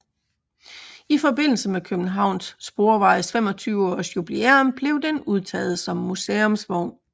I forbindelse med Københavns Sporvejes 25 års jubilæum blev den udtaget som museumsvogn